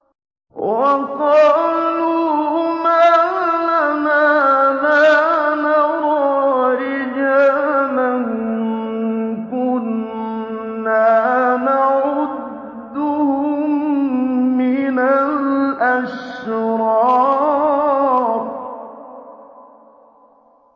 وَقَالُوا مَا لَنَا لَا نَرَىٰ رِجَالًا كُنَّا نَعُدُّهُم مِّنَ الْأَشْرَارِ